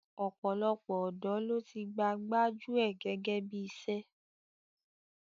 Ọ̀pọ̀lọpọ̀ ọ̀dọ́ ló ti gba gbájú ẹ̀ gẹ́gẹ́ bí iṣẹ́.